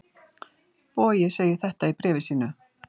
Bogi segir þetta í bréfi sínu: